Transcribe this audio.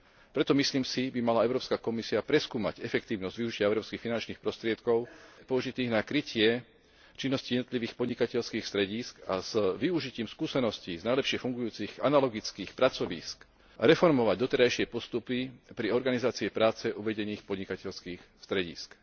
Preto, myslím si, by mala Európska komisia preskúmať efektívnosť využitia európskych finančných prostriedkov použitých na krytie činnosti jednotlivých podnikateľských stredísk a s využitím skúseností z najlepšie fungujúcich analogických pracovísk reformovať doterajšie postupy pri organizácii práce uvedených podnikateľských stredísk.